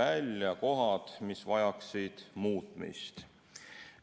välja kohad, mis vajaksid muutmist.